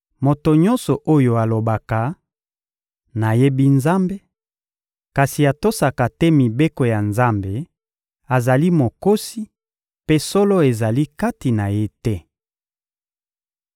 Moto nyonso oyo alobaka: «Nayebi Nzambe,» kasi atosaka te mibeko ya Nzambe azali mokosi mpe solo ezali kati na ye te.